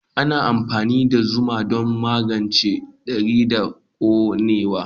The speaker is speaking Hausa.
Ana amfani da zuma don magance tari da konewa.